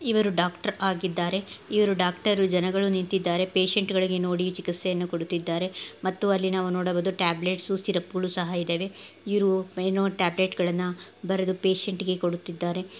ಇವರು ಡಾಕ್ಟರ್ ಆಗಿದ್ದಾರೆ ಇವರು ಡಾಕ್ಟರು ಜನಗಳು ನಿಂತಿದ್ದಾರೆ ಪೇಶಂಟ್ಗ ಳಿಗೆ ನೋಡಿ ಚಿಕಿಸ್ತೆಯನ್ನು ಕೊಡುತ್ತಿದ್ದಾರೆ ಮತ್ತು ಅಲ್ಲಿ ನಾವು ನೋಡಬಬಹುದು ಟ್ಯಾಬ್ಲೇಟ್ಸ್ ಸಿರಪಗಳು ಸಹ ಇದಾವೆ ಇವರು ಏನೋ ಟ್ಯಾಬ್ಲೆಟ್ಗ ಳನ್ನ ಬರೆದು ಪೇಶಂಟ್ಗ ಳಿಗೆ ಕೊಡುತ್ತಿದ್ದಾರೆ .